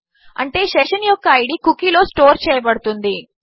అంటే సెషన్ యొక్క ID cookie లో స్టోర్ చేయబడుతుంది